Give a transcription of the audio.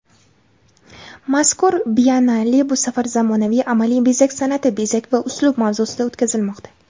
Mazkur Biennale bu safar "Zamonaviy amaliy-bezak san’ati: bezak va uslub" mavzusida o‘tkazilmoqda.